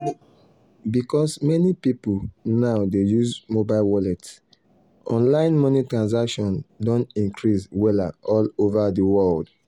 because many people now dey use mobile wallet online money transactions don increase wella all over the world.